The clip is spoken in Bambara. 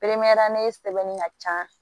sɛbɛnni ka ca